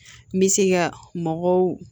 N bɛ se ka mɔgɔw